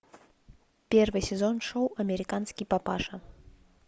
первый сезон шоу американский папаша